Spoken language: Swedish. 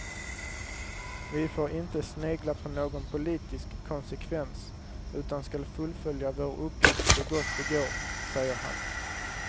Vi får inte snegla på någon politisk konsekvens utan skall fullfölja vår uppgift så gott det går, säger han.